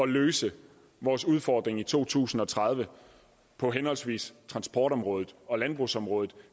løse vores udfordringer i to tusind og tredive på henholdsvis transportområdet og landbrugsområdet